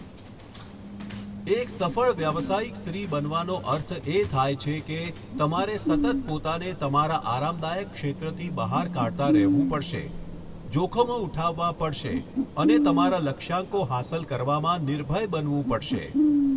એક સફળ વ્યાવસયિક સ્ત્રી બનવાનો અર્થ એ થાય છે કે તમારે સતત પોતાને તમારા આરામદાયક ક્ષેત્રથી બહાર કાઢતા રહેવું પડશે, જોખમો ઉઠાવવાં પડશે અને તમારા લક્ષ્યાંકો હાંસલ કરવામાં નિર્ભય બનવું પડશે.